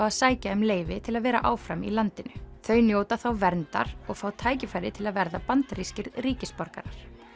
að sækja um leyfi til að vera áfram í landinu þau njóta þá verndar og fá tækifæri til að verða bandarískir ríkisborgarar